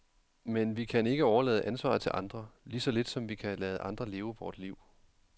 Men vi kan ikke overlade ansvaret til andre, lige så lidt som vi kan lade andre leve vort liv.